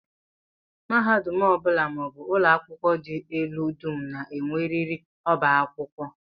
Mahadum ọ bụla maọbụ ụlọakwụkwọ dị elu dum na-enwerịrị ọbá akwụkwọ